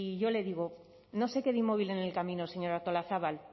yo le digo no se quede inmóvil en el camino señora artolazabal